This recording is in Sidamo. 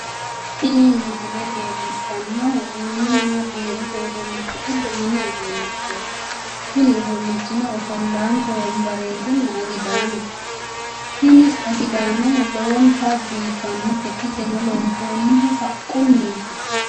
Tini misile leellishshannohu mininna biirote uduunnichi giddo mini uduunnichooti kuni uduunnichino ofollaancho wombareetinna agidaamete tini agidaameno lowonta biiffannote iseno lonsoonnihu haqqunniiti.